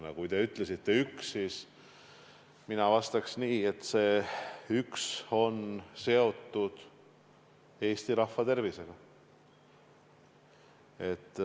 Aga kui teie ütlesite üks, siis mina vastaksin nii, et see üks on seotud Eesti rahva tervisega.